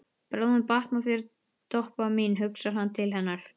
Bráðum batnar þér, Doppa mín hugsar hann til hennar.